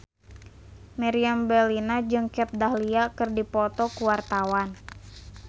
Meriam Bellina jeung Kat Dahlia keur dipoto ku wartawan